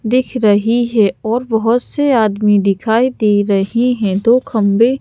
दिख रही है और बहोत से आदमी दिखाई दे रही है। दो खम्बें--